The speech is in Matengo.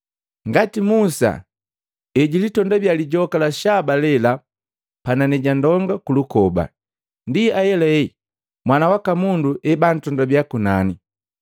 Ngati Musa ejilitondabiya lijoka la shaba lela panani ja ndonga kulukoba, ndi ahelahela Mwana waka Mundu ebuntondabiya kunani,